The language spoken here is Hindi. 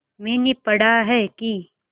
मैंने पढ़ा है कि